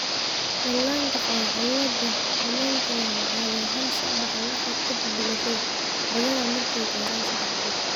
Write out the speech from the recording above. Dhallaanka qaba cillada Omennka waxay caadi ahaan soo baxaan wax yar ka dib dhalashada, badanaa markay gaaraan sedex bilood.